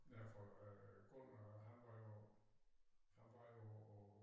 Ja for øh Gunnar han var jo han var jo